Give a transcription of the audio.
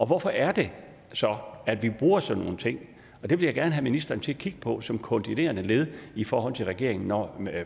hvorfor er det så at vi bruger sådan nogle ting det vil jeg gerne have ministeren til at kigge på som koordinerende led i forhold til regeringen når